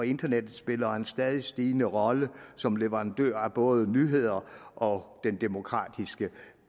internet spiller en stadig stigende rolle som leverandører af både nyheder og den demokratiske